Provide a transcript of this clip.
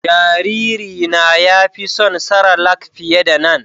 Jariri na ya fi son cerelac fiƴe da nan